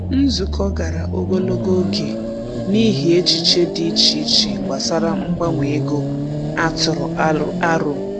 Nzukọ gara ogologo oge n’ihi echiche dị iche iche gbasara mgbanwe ego a tụrụ aro.